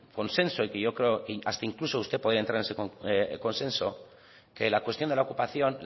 consenso y que yo creo hasta incluso usted podría entrar en ese consenso que la cuestión de la ocupación